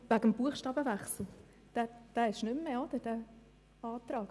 Unsererseits liegt kein Antrag auf Wechsel der Buchstabenreihenfolge mehr vor.